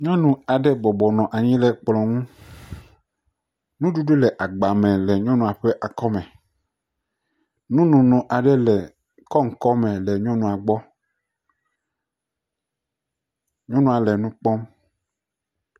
Nyɔnu aɖe bɔbɔ nɔ anyi ɖe kplɔ nu. Nyuɖuɖu le agba me le nyɔnua e ŋkume, nunono aɖe le kɔŋkɔŋ me le nyɔnua gbɔ. Nyɔnua le nu kpɔm.